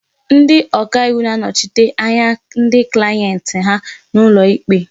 Ndị ọka iwu na-anọchite anya ndị klayenti ha n'ụlọ ikpe.